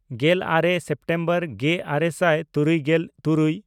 ᱜᱮᱞᱟᱨᱮ ᱥᱮᱯᱴᱮᱢᱵᱚᱨ ᱜᱮᱼᱟᱨᱮ ᱥᱟᱭ ᱛᱩᱨᱩᱭᱜᱮᱞ ᱛᱩᱨᱩᱭ